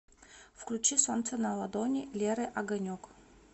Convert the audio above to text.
включи солнце на ладони леры огонек